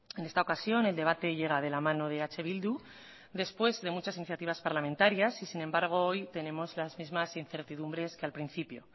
en esta ocasión el debate llega de la mano de eh bildu después de muchas iniciativas parlamentarias y sin embargo hoy tenemos las mismas incertidumbres que al principio